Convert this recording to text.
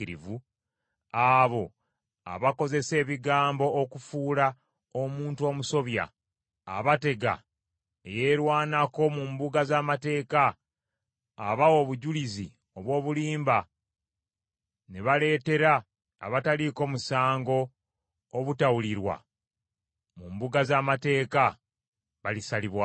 abo abakozesa ebigambo okufuula omuntu omusobya, abatega eyeerwanako mu mbuga z’amateeka, abawa obujulizi obw’obulimba, ne baleetera abataliiko musango obutawulirwa mu mbuga z’amateeka, balisalibwako.